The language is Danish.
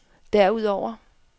derudover